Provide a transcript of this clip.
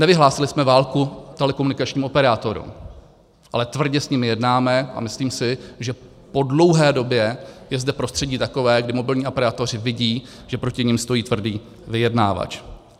Nevyhlásili jsme válku telekomunikačním operátorům, ale tvrdě s nimi jednáme a myslím si, že po dlouhé době je zde prostředí takové, kdy mobilní operátoři vidí, že proti nim stojí tvrdý vyjednávač.